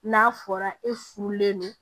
N'a fɔra e furulen don